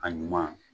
A ɲuman